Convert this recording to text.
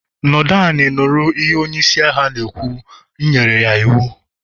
nọdu l'iwhu onye-ishi ndu ojọgu, mu e-me ya iwu